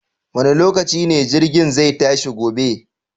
Wane lokaci ne jirgin zai tashi gobe?